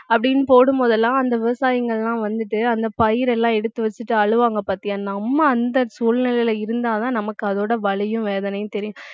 அப்படின்னு போடும் போது எல்லாம் அந்த விவசாயிகள் எல்லாம் வந்துட்டு அந்த பயிர் எல்லாம் எடுத்து வச்சுட்டு அழுவாங்க பார்த்தியா நம்ம அந்த சூழ்நிலையில இருந்தாதான் நமக்கு அதோட வலியும் வேதனையும் தெரியும்